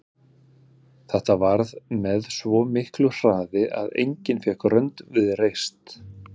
Þetta varð með svo miklu hraði að enginn fékk rönd við reist.